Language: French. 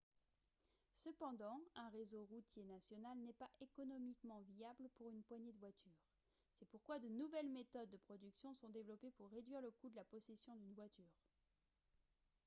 cependant un réseau routier national n'est pas économiquement viable pour une poignée de voitures c'est pourquoi de nouvelles méthodes de production sont développées pour réduire le coût de la possession d'une voiture